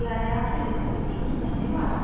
मैं श्रुति आर्य आपसे विदा लेती हूँ धन्यवाद